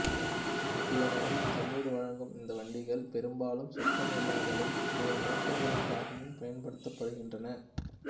ஏனெனில் தண்னீர் வழங்கும் இந்த வண்டிகள் பெரும்பாலும் சுத்தம் இல்லாமலும் பிற நோக்கங்களுக்காகவும் பயன்படுத்தப்படுகின்றன